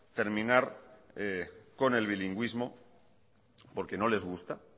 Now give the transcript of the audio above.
terminar con el bilingüismo porque no les gusta